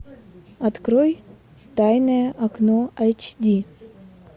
открой тайное окно айч ди